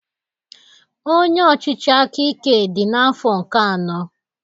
Onye ọchịchị aka ike dị n'afọ nke anọ